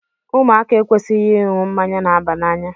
Ụmụaka ekwesịghị ịṅụ mmanya na-aba n'anya.